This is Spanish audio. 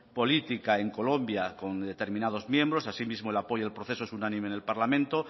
política en colombia con determinados miembros asimismo el apoyo del proceso es unánime en el parlamento